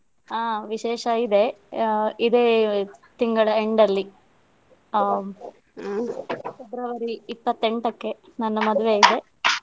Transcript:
ಆ ವಿಶೇಷ ಇದೆ ಆ ಇದೇ ತಿಂಗಳ end ಅಲ್ಲಿ ಆ February ಇಪ್ಪತ್ತೆಂಟಕ್ಕೆ ನನ್ನ ಮದುವೆ ಇದೆ.